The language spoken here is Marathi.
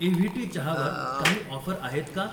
एव्हीटी चहावर काही ऑफर आहेत का?